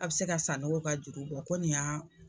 A' bɛ se ka Sanogo ka juru bɔ ko nin y'a